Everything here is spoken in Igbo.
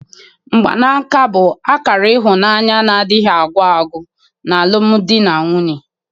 Mgbanaka bụ akara ịhụnanya na-adịghị agwụ agwụ n'alụmdi na nwunye.